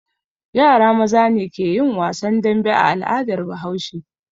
Yara maza ne ke yin wasan dambe a al'adar Bahaushe.